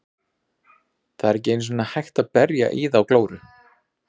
Það er ekki einu sinni hægt að berja í þá glóru.